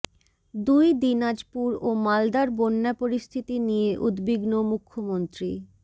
দুই দিনাজপুর ও মালদার বন্যা পরিস্থিতি নিয়ে উদ্বিগ্ন মুখ্যমন্ত্রী